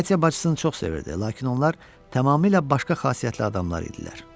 Katya bacısını çox sevirdi, lakin onlar tamamilə başqa xasiyyətli adam idilər.